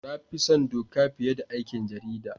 Na fi son Doka fiye da aikin jarida.